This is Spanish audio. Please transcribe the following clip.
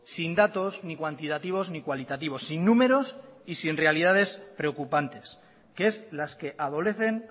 sin datos ni cuantitativos ni cualitativos sin números y sin realidades preocupantes que es las que adolecen